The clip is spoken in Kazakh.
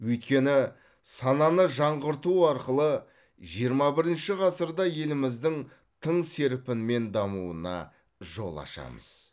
өйткені сананы жаңғырту арқылы жиырма бірінші ғасырда еліміздің тың серпінмен дамуына жол ашамыз